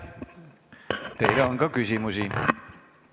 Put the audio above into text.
Teile on ka küsimusi.